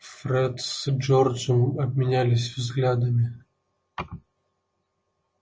фред с джорджем обменялись взглядами